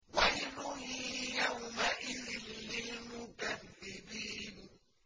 وَيْلٌ يَوْمَئِذٍ لِّلْمُكَذِّبِينَ